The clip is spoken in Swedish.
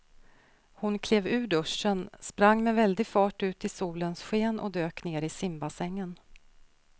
Hon klev ur duschen, sprang med väldig fart ut i solens sken och dök ner i simbassängen.